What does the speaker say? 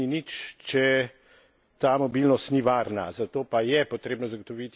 Večja mobilnost seveda ne pomeni nič, če ta mobilnost ni varna.